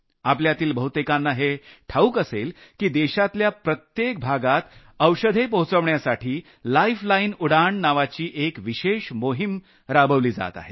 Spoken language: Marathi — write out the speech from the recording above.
आपल्यातील बहुतेकांना हे ठाऊक असेल की देशातल्या प्रत्येक भागात औषधे पोहचवण्यासाठी लाईफलाईन उडाण नावाची एक विशेष मोहिम राबवली जात आहे